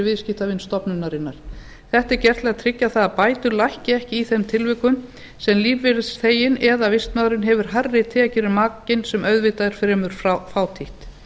viðskiptavin stofnunarinnar þetta er gert til að tryggja að bætur lækki ekki í þeim tilvikum sem lífeyrisþeginn eða vistmaðurinn hefur hærri tekjur en makinn sem auðvitað er fremur fátítt